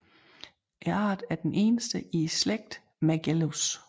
Arten er den eneste i slægten Mergellus